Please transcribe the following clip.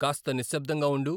కాస్త నిశ్శబ్ధంగా ఉండు